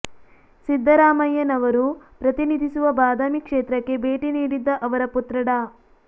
ಸಿದ್ದರಾಮಯ್ಯನವರು ಪ್ರತಿನಿಧಿಸುವ ಬಾದಾಮಿ ಕ್ಷೇತ್ರಕ್ಕೆ ಭೇಟಿ ನೀಡಿದ್ದ ಅವರ ಪುತ್ರ ಡಾ